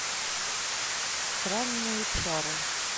странные чары